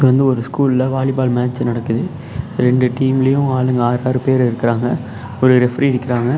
இது வந்து ஒரு ஸ்கூல் ல வாலிபால் மேட்ச் சு நடக்குது ரெண்டு டீம் லியும் ஆளுங்க ஆறாறு பேரு இருக்கறாங்க ஒரு ரெஃப்ரி இருக்கிறாங்க.